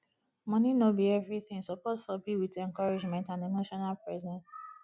money no be everything support for be with encouragement and emotional presence